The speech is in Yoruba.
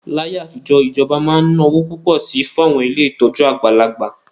Láyé àtijọ́, ìjọba máa ń ná owó púpọ̀ sí i fún àwọn ilé ìtọ́jú àgbàlagbà